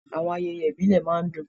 Àwọn ayẹyẹ ìbílẹ̀ máa ń dùn.